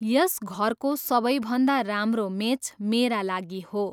यस घरको सबैभन्दा राम्रो मेच मेरा लागि हो।